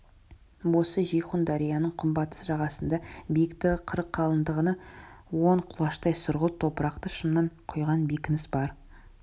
осы жейхун дарияның күнбатыс жағасында биіктігі қырық қалыңдығы он құлаштай сұрғылт топырақты шымнан құйған бекініс бар